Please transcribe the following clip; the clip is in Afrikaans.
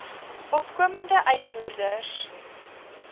opkomende uitvoerders